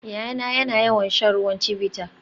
Yayana yana son ruwan Chivita